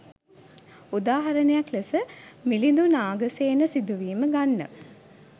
උදාහරණ යක් ලෙස මිලිඳු නාගසේන සිදුවීම ගන්න